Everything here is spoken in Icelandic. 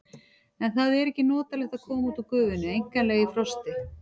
En það er ekki notalegt að koma út úr gufunni einkanlega í frosti.